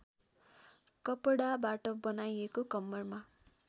कपडाबाट बनाइएको कम्मरमा